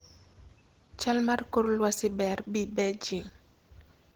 chal mar kor lwasi ber bi beijing